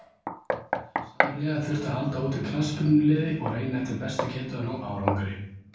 Samhliða þurfti að halda úti knattspyrnuliði og reyna eftir bestu getu að ná árangri.